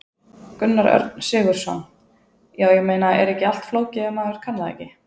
Gunnar Örn Sigurðsson: Já, ég meina, er ekki allt flókið ef maður kann það ekki?